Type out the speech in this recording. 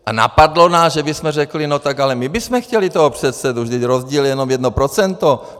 A napadlo nás, že bychom řekli: No tak ale my bychom chtěli toho předsedu, vždyť rozdíl je jenom jedno procento.